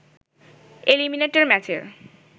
eliminator ম্যাচের